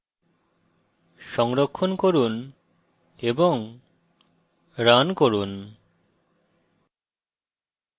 সংরক্ষণ করে run run